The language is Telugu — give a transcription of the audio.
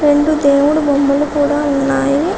రెండు దేవుడి బొమ్మలు కూడా ఉన్నాయి.